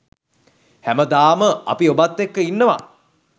හැමදාම අපි ඔබත් එක්ක ඉන්නවා.